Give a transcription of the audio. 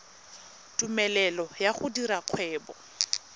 tumelelo ya go dira kgwebo